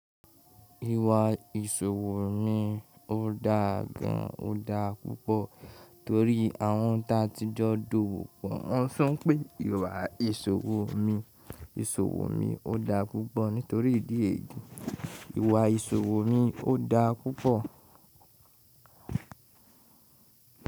Ìwà ìsòwò mi ò dáa gan, ò dáa púpọ̀ torí àwọn tá tí jọ́ dowò pọ̀. Wọ́n sún pé ìwà ìṣòwò mi, ìsòwò mi ò dáa púpọ̀ nítorí ìdí èyí. Ìwà ìsòwò mi ò dáa púpọ̀.